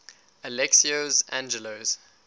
alexios angelos